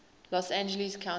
los angeles county